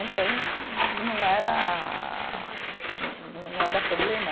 Então, não era, não era problema.